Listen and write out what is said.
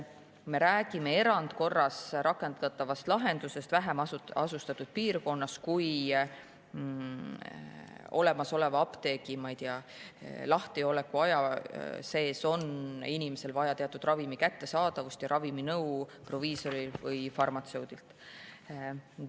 Me räägime erandkorras rakendatavast lahendusest vähem asustatud piirkonnas, kui olemasolevas apteegis on selle lahti olles inimesel vaja teatud ravim kätte saada ja küsida ravimi kohta nõu proviisorilt või farmatseudilt.